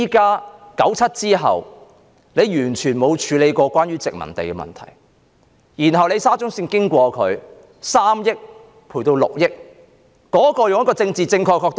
在1997年後，政府完全沒有處理關於殖民地的問題，後來因為沙中綫要經過那地點，賠償金額便由3億元升至6億元。